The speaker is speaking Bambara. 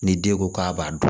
Ni den ko k'a b'a dun